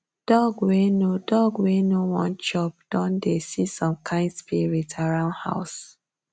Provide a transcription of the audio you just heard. dog wey no dog wey no won chop don dey see some kind spirit around house